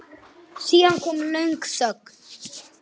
Snilld alveg!